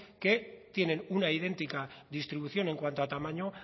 que tienen una idéntica distribución en cuanto a tamaño